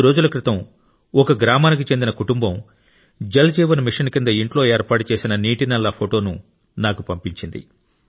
కొద్ది రోజుల క్రితం గ్రామానికి చెందిన ఒక కుటుంబం జల్ జీవన్ మిషన్ కింద ఇంట్లో ఏర్పాటు చేసిన నీటి నల్లా ఫోటోను నాకు పంపింది